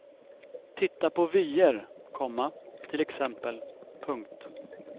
Titta på vyer, komma till exempel. punkt